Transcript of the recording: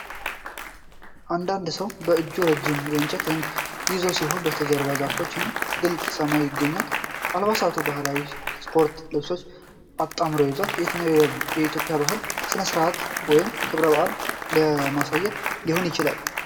እያንዳንዱ ሰው በእጁ ረጅም የእንጨት ዘንግ ይዞ ሲሆን፣ በስተጀርባ ዛፎች እና ግልጽ ሰማይ ይገኛሉ፤ አልባሳቱ ባህላዊና ስፖርታዊ ልብሶችን አጣምሮ ይዟል። የትኛውን የኢትዮጵያ ባህላዊ ሥነ-ሥርዓት ወይም ክብረ በዓል ለማሳየት ሊሆን ይችላል?